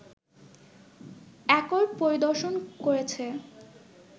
accord পরিদর্শন করেছে